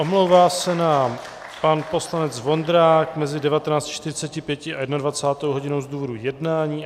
Omlouvá se nám pan poslanec Vondrák mezi 19.45 a 21. hodinou z důvodu jednání.